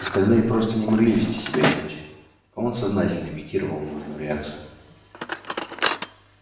остальные просто не могли вести себя иначе а он сознательно имитировал нужную реакцию